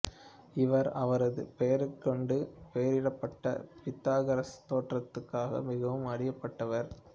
இவர் அவரது பெயரைக்கொண்டு பெயரிடப்பட்ட பித்தாகரசு தேற்றத்துக்காக மிகவும் அறியப்பட்டவர்